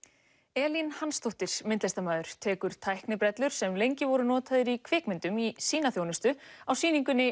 Elín Hansdóttir myndlistarmaður tekur tæknibrellur sem lengi voru notaðar í kvikmyndum í sína þjónustu á sýningunni